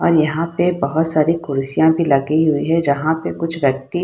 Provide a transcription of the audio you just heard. और यहाँ पे बहुत सारी कुर्सिया भी लगी हुई है जहां पे कुछ व्यक्ति --